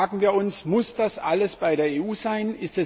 Da fragen wir uns Muss das alles bei der EU sein?